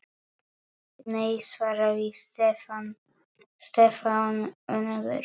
Nei svaraði Stefán önugur.